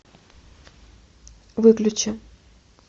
выключи